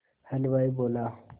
हलवाई बोला